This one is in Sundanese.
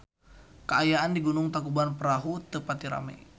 Kaayaan di Gunung Tangkuban Perahu teu pati rame